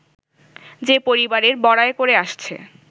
যে-পরিবারের বড়াই করে আসছে